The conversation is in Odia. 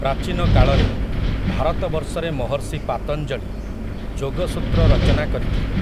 ପ୍ରାଚୀନ କାଳରେ, ଭାରତବର୍ଷରେ ମହର୍ଷି ପାତଞ୍ଜଳି, ଯୋଗସୂତ୍ର ରଚନା କରିଥିଲେ ।